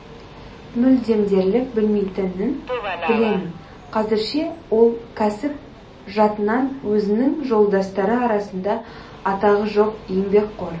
мүлдем дерлік білмейтінін білемін қазірше ол кәсіп жатынан өзінің жолдастары арасында атағы жоқ еңбекқор